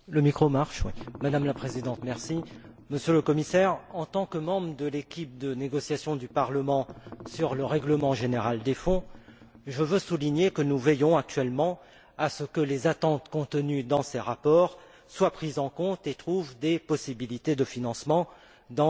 Madame la Présidente, Monsieur le Commissaire, en tant que membre de l'équipe de négociation du Parlement sur le règlement général des Fonds, je veux souligner que nous veillons actuellement à ce que les attentes contenues dans ces rapports soient prises en compte et trouvent des possibilités de financement dans les futurs